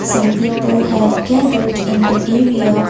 some people have gathered in the area.